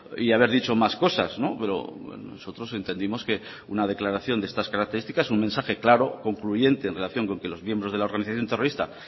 y haber dicho más cosas pero nosotros entendimos que una declaración de estas características un mensaje claro concluyente en relación con que los miembros de la organización terrorista